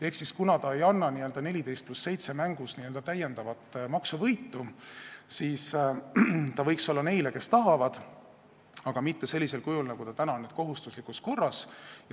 Ehk kuna selles n-ö mängus 14 + 7 ei ole täiendavat maksuvõitu, siis see võiks olla mõeldud neile, kes seda tahavad, aga mitte sellisel kujul, nagu ta täna on, et kohustuslikus korras.